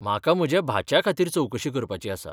म्हाका म्हज्या भाच्या खातीर चवकशी करपाची आसा.